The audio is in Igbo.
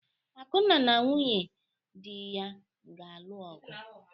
Akunna na nwunye di ya ga-alụ ọgụ.